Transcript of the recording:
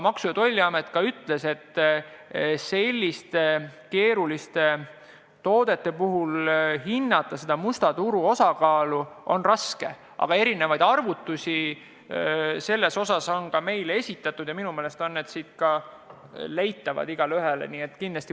Maksu- ja Tolliamet ütles ka, et selliste keeruliste toodete puhul on musta turu osakaalu on raske hinnata, aga erinevaid arvutusi on ka meile esitatud ja minu meelest on need igaühel leitavad.